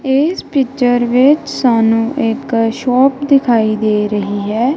ਇਸ ਪਿਕਚਰ ਵਿੱਚ ਸਾਨੂੰ ਇੱਕ ਸ਼ੋਪ ਦਿਖਾਈ ਦੇ ਰਹੀ ਹੈ।